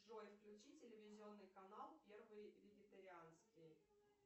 джой включи телевизионный канал первый вегетарианский